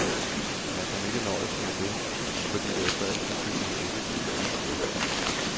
Man kan ikke nøjes med det, fordi det efter al sandsynlighed ikke kan gennemføres.